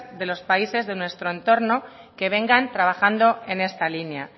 de los países de nuestro entorno que vengan trabajando en esta línea